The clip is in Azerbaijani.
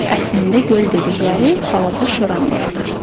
Əslində göl dedikləri balaca şoranlıqdır.